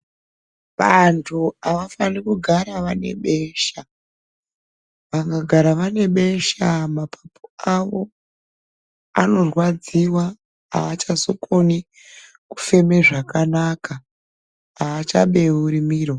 Vantu havafanirwi kugara vane besha vakagara vanebesha mapupo avo anorwadziwa haachazokoni kufema zvakanaka haachabeuri miro.